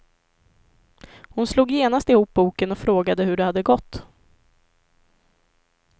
Hon slog genast ihop boken och frågade hur det hade gått.